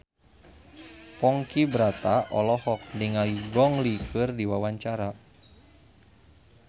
Ponky Brata olohok ningali Gong Li keur diwawancara